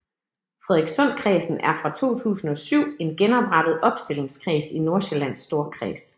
Frederikssundkredsen er fra 2007 en genoprettet opstillingskreds i Nordsjællands Storkreds